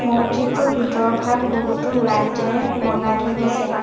মছজিদটোৰ ভিতৰভাগ বহুতো লাইট এৰে লগাই থৈ দিছে।